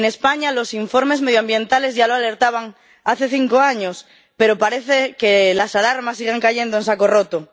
En España, los informes medioambientales ya alertaban hace cinco años, pero parece que las alarmas siguen cayendo en saco roto.